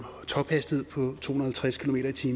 tophastighed på to hundrede og halvtreds kmt